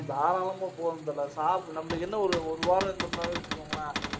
தாராளமா போவோம் தல நம்மளுக்கு என்ன ஒரு ஒரு வாரம் இருந்தோம்னு வெச்சுக்கோங்களேன்